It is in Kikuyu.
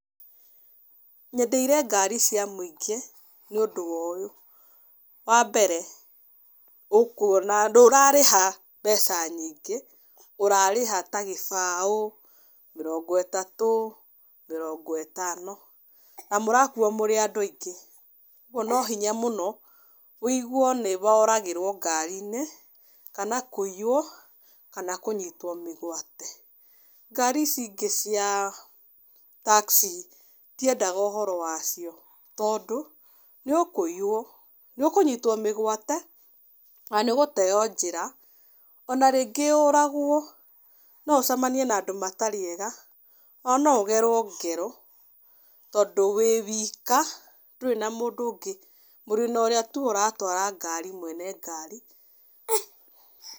Nyendeire ngari cia mũingĩ nĩ ũndũ wa ũyũ, wa mbere ũkuona ndũrarĩha mbeca nyingĩ, ũrarĩha ta gĩbaũ, mĩrongo itatũ, mĩrongo ĩtano. Na mũrakuo mũrĩ andũ aingĩ kũoguo no hinya mũno wũigue nĩ woragĩrwo ngari-inĩ kana kũiywo kana kũnyitwo mĩgwate. Ngari ici ingĩ cia taxi ndiendaga ũhoro wacio, tondũ nĩ ũkũiywo, nĩ ũkũnyitwo mĩgwate na nĩ ũgũteo njĩra, ona rĩngĩ ũragwo. No ũcemanie na andũ matarĩ ega na no ũgerwo ngero, tondũ wĩ wika ndũrĩ na mũndũ ũngĩ, mũrĩ na ũrĩa tu ũratwara ngari mwene ngari.